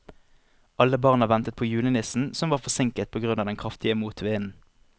Alle barna ventet på julenissen, som var forsinket på grunn av den kraftige motvinden.